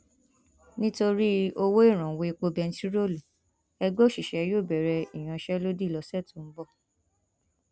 nítorí ọwọ ìrànwọ epo bẹntiróòlù ẹgbẹ òṣìṣẹ yóò bẹrẹ ìyanṣẹlódì lọsẹ tó ń bọ